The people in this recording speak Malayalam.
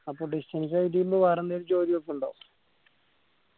അപ്പോ distance ആയിട്ട് ചെയ്യുമ്പോ വേറെ എന്തേലും ജോലി നോക്കുണ്ടോ